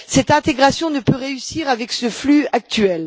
Cette intégration ne peut réussir avec le flux actuel.